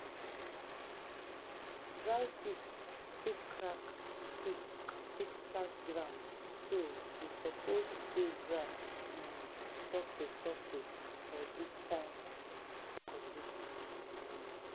dry heat fit crack heat fit crack ground so we suppose till ground um sofri sofri for dis kain um condition. um